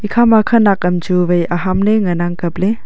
khama khanak kam chu wai aham le ngan ang kaple.